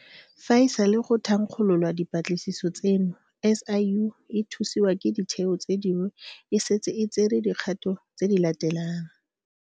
Fa e sale go thankgololwa dipatlisiso tseno, SIU, e thusiwa ke ditheo tse dingwe, e setse e tsere dikgato tse di latelang.